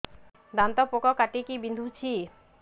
ଦାନ୍ତ ପୋକ କାଟିକି ବିନ୍ଧୁଛି